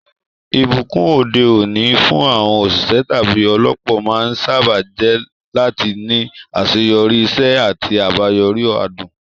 Ìbùkún òde òní fún àwọn òṣìṣẹ́ tàbí olópò máa ń sáábà jẹ́ láti ní àṣeyọrí, iṣẹ́ àti àbáyọrí adùn.